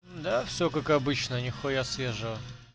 да все как обычно нехуя свежего